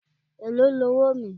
Èló ni owóò mi?